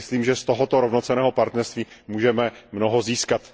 Myslím, že z tohoto rovnocenného partnerství můžeme mnoho získat.